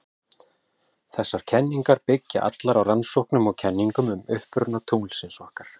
Þessar kenningar byggja allar á rannsóknum og kenningum um uppruna tunglsins okkar.